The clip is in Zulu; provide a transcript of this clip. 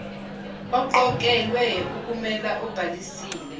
oqokelwe ukumela obhalisile